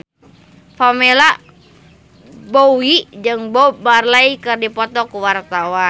Pamela Bowie jeung Bob Marley keur dipoto ku wartawan